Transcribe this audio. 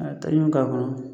A ta k'a kɔnɔ